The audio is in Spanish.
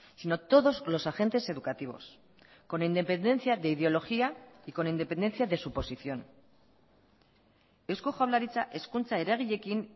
sino todos los agentes educativos con independencia de ideología y con independencia de su posición eusko jaurlaritza hezkuntza eragileekin